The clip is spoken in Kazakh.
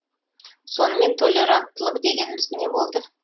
сонымен толеранттылық дегеніміз не болды